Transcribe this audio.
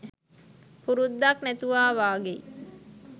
පුරුද්දක් නැතුවා වාගෙයි